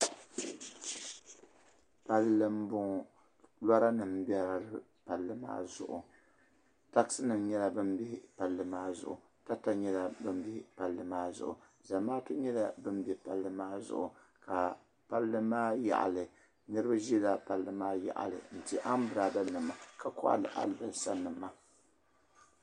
Palli m boŋɔ Lora nima bela palli maa zuɣu taɣasi nima nyɛla ban be palli maa zuɣu tata nyɛla ban be palli maa zuɣu Zamaatu nyela ban be palli maa zuɣu ka palli maa yaɣali niriba ʒila palli maa yaɣali n ti ambirada nima ka kohari alibasa.